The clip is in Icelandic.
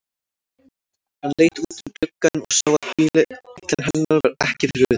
Hann leit út um gluggann og sá að bíllinn hennar var ekki fyrir utan.